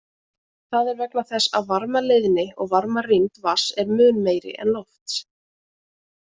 Það er vegna þess að varmaleiðni og varmarýmd vatns er mun meiri en lofts.